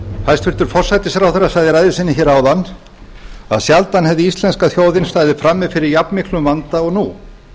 hæstvirtur forsætisráðherra sagði í ræðu sinni áðan að sjaldan hefði íslenska þjóðin staðið frammi fyrir jafnmiklum vanda og nú